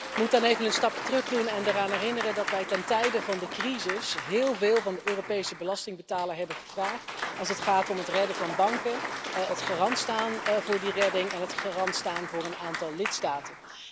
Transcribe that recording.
Ik moet dan even een stapje terugdoen en eraan herinneren dat wij ten tijde van de crisis heel veel van de Europese belastingbetaler hebben gevraagd, als het gaat om het redden van banken, het garant staan voor die redding, en het garant staan voor een aantal lidstaten.